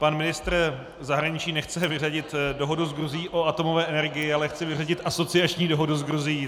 Pan ministr zahraničí nechce vyřadit dohodu s Gruzií o atomové energii, ale chce vyřadit asociační dohodu s Gruzií.